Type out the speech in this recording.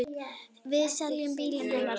Við seljum bílinn hennar þá.